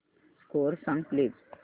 score सांग please